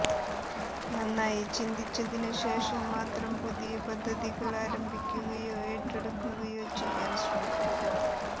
നന്നായി ചിന്തിച്ചതിനു ശേഷം മാത്രം പുതിയ പദ്ധതികൾ ആരംഭിക്കുകയോ ഏറ്റെടുക്കുകയോ ചെയ്യാൻ ശ്രമിക്കുക